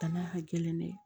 Danaya ka gɛlɛn dɛ